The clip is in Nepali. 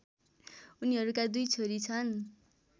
उनीहरूका दुई छोरी छन्